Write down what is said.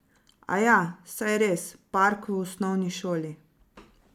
Aja, saj res, Park v osnovni šoli?